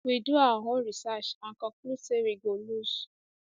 we do our own research and conclude say we go lose